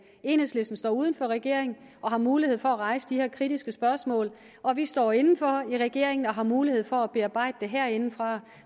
at enhedslisten står uden for regeringen og har mulighed for at rejse de her kritiske spørgsmål og vi står inden for i regeringen og har mulighed for at bearbejde det herindefra